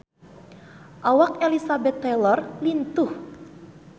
Awak Elizabeth Taylor lintuh